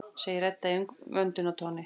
segir Edda í umvöndunartóni.